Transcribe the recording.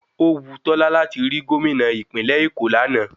Ówu Tolú láti rí Gómìnà ìpínlẹ̀ Èkó lánàá